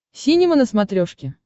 синема на смотрешке